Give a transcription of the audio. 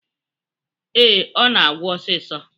Ee, Ọ na-agwụ osisọ.